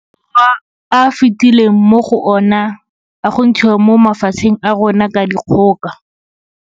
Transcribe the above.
Borwa a fetileng mo go ona a go ntshiwa mo mafatsheng a rona ka dikgoka.